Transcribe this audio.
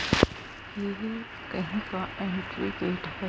यह कहीं का एंट्री गेट है।